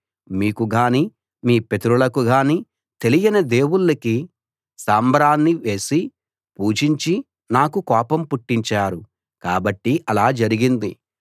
మీకుగానీ మీ పితరులకిగానీ తెలియని దేవుళ్ళకి సాంబ్రాణి వేసి పూజించి నాకు కోపం పుట్టించారు కాబట్టి అలా జరిగింది